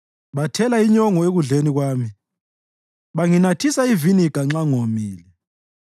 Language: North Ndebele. Bathela inyongo ekudleni kwami banginathisa iviniga nxa ngomile.